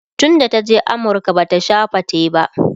tun da ta je amurka Bata Sha fate ba